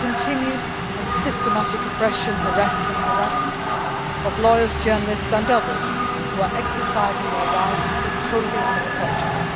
The continued and systematic oppression, arrests and harassment of lawyers, journalists and others who are exercising their rights is totally unacceptable.